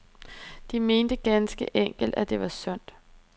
De mente ganske enkelt, at det var sundt.